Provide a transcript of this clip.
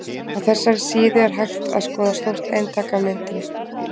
Á þessari síðu er hægt að skoða stórt eintak af myndinni.